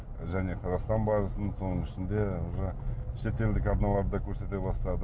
және қазақстан барысын соның ішінде уже шетелдік арналар да көрсете бастады